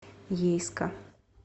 ейска